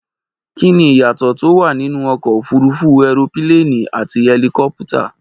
Kí ni ìyàtọ̀ tó wà nínú ọkọ̀ òfúrufú ẹropíléènì àti ẹlikọ́pútà?